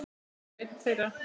Valli var einn þeirra.